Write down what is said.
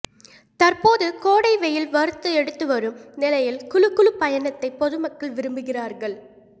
தற்போது கோடை வெயில் வறுத்து எடுத்துவரும் நிலையில் குளு குளு பயணத்தை பொதுமக்கள் விரும்புகிறார்கள்